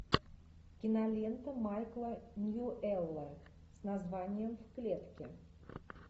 кинолента майкла ньюэлла с названием в клетке